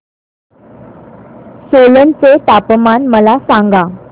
सोलन चे तापमान मला सांगा